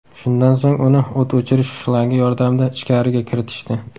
Shundan so‘ng uni o‘t o‘chirish shlangi yordamida ichkariga kiritishdi.